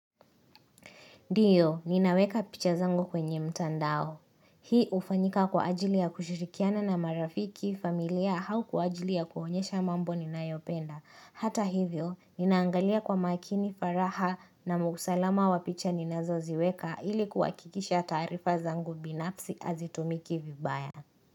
Ndiyo, ninaweka picha zangu kwenye mtandao. Hii hufanyika kwa ajili ya kushirikiana na marafiki familia hau kwa ajili ya kuonyesha mambo ninayo penda. Hata hivyo, ninaangalia kwa makini faraha na mkusalama wa picha ninazoziweka ilikuwa kuhakikisha taarifa zangu binafsi hazitumiki vibaya.